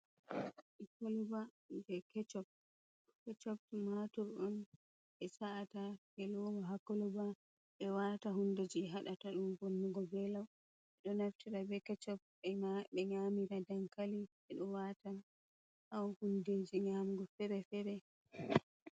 Kolba je kechop, kechop tumatur on ɓe sa’ata ɓe lowo ha kolba ɓe wata hunde je hadata ɗum vonnugo ɓe lau ɓe ɗo naftira be kechob ɓe nyamira dankali ɓeɗo wata ha hundeji nyamugo fere-fere.